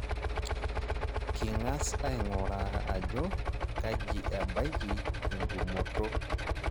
King'as aing'uraa ajo kaji ebaiki entumoto.